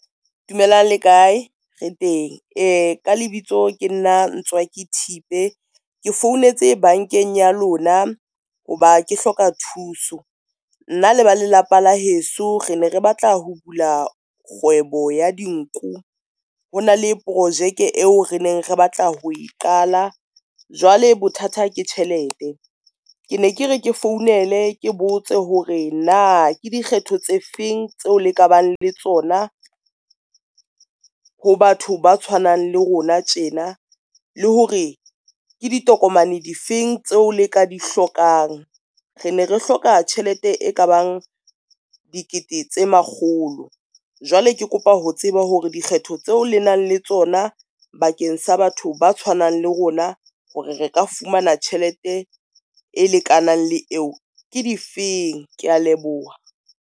Dumelang le kae? re teng ka lebitso ke nna Ntswaki Thipe ke founetse bankeng ya lona hoba ke hloka thuso. Nna le ba lelapa la heso re ne re batla ho bula kgwebo ya dinku. Ho na le projeke eo re neng re batla ho e qala. Jwale bothata ke tjhelete, ke ne ke re ke founele ke botse hore na ke dikgetho tse feng tseo le ka bang le tsona ho batho ba tshwanang le rona tjena le hore ke ditokomane di feng tseo le ka di hlokang. Re ne re hloka tjhelete e ka bang dikete tse makgolo. Jwale ke kopa ho tseba hore dikgetho tseo le nang le tsona bakeng sa batho ba tshwanang le rona hore re ka fumana tjhelete e lekanang le eo ke difeng? Kea leboha.